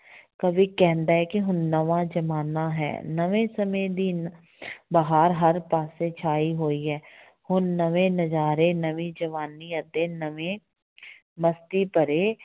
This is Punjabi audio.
ਕਵੀ ਕਹਿੰਦਾ ਹੈ ਕਿ ਹੁਣ ਨਵਾਂ ਜ਼ਮਾਨਾ ਹੈ ਨਵੇਂ ਸਮੇਂ ਦੀ ਬਹਾਰ ਹਰ ਪਾਸੇ ਛਾਈ ਹੋਈ ਹੈ ਹੁਣ ਨਵੇਂ ਨਜ਼ਾਰੇ ਨਵੀਂ ਜਵਾਨੀ ਅਤੇ ਨਵੇਂ ਮਸਤੀ ਭਰੇ